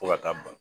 Fo ka taa ban